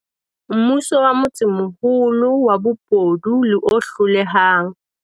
Mmuso wa motsemoholo wa bobodu le o hlolehang.